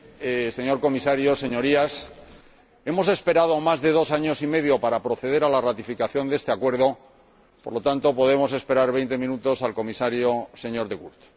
Señor Presidente, Señor Comisario, Señorías, hemos esperado más de dos años y medio para proceder a la ratificación de este Acuerdo, por lo que podemos esperar veinte minutos al Comisario De Gucht.